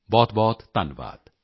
ਬਹੁਤਬਹੁਤ ਧੰਨਵਾਦ